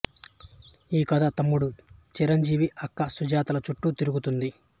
ఈ కథ తమ్ముడు చిరంజీవి అక్క సుజాత ల చుట్టూ తిరుగుతుంది